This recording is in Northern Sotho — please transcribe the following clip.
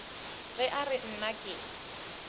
ge a re nna ke